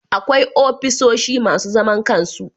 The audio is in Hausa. Akwai ofisoshi masu zaman kansu